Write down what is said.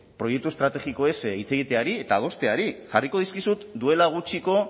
proiektu estrategikoez hitz egiteari eta adosteari jarriko dizkizut duela gutxiko